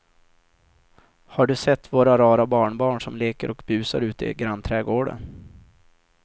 Har du sett våra rara barnbarn som leker och busar ute i grannträdgården!